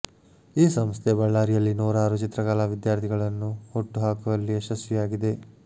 ಈ ಸಂಸ್ಥೆ ಬಳ್ಳಾರಿಯಲ್ಲಿ ನೂರಾರು ಚಿತ್ರಕಲಾ ವಿದ್ಯಾರ್ಥಿಗಳನ್ನು ಹುಟ್ಟು ಹಾಕುವಲ್ಲಿ ಯಶಸ್ವಿಯಾಗಿದೆ